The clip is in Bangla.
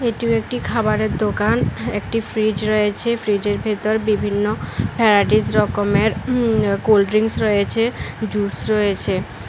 এটিও একটি খাবারের দোকান একটি ফ্রিজ রয়েছে ফ্রিজের ভেতর বিভিন্ন ভ্যরাইটিস রকমের উম কোল্ড ড্রিঙ্কস রয়েছে জুস রয়েছে।